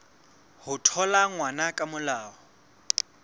ho thola ngwana ka molao